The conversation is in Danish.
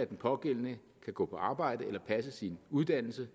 at den pågældende kan gå på arbejde eller passe sin uddannelse